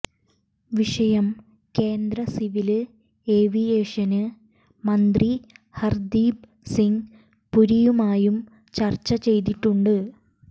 വിഷയം കേന്ദ്ര civil aviation മന്ത്രി ഹര്ദ്ദിപ് സിങ് പുരിയുമായും ചര്ച്ച ചെയ്തിട്ടുണ്ട്